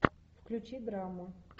включи драму